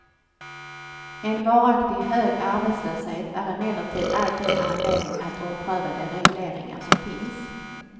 En varaktigt hög arbetslöshet är emellertid alltid en anledning att ompröva de regleringar som finns.